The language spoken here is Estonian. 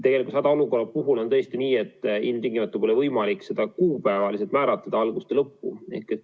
Tegelikult hädaolukorra puhul on nii, et ilmtingimata pole võimalik kuupäevaliselt algust ja lõppu määratleda.